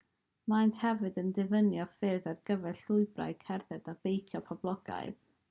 maent hefyd yn diffinio ffyrdd ar gyfer llwybrau cerdded a beicio poblogaidd